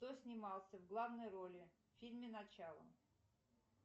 кто снимался в главной роли в фильме начало